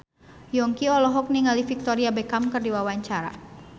Yongki olohok ningali Victoria Beckham keur diwawancara